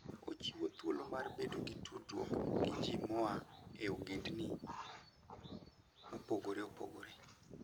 Ochiwo thuolo mar bedo gi tudruok gi ji moa e ogendini mopogore opogore.